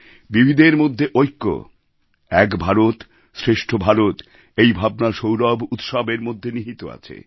বিবিধের মধ্যে ঐক্য এক ভারত শ্রেষ্ঠ ভারত এই ভাবনার সৌরভ উৎসবের মধ্যে নিহিত আছে